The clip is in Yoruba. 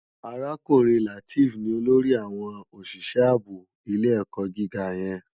Arákúrin Lateef ni ólórì áwòn ósìsè àbó ilé èkò gigá yèn